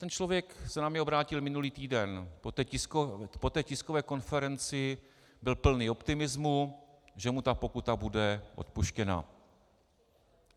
Ten člověk se na mne obrátil minulý týden, po té tiskové konferenci, byl plný optimismu, že mu ta pokuta bude odpuštěna.